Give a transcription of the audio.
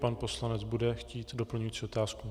Pan poslanec bude chtít doplňující otázku?